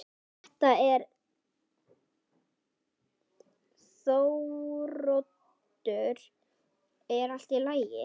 Þetta er Þóroddur, er allt í lagi?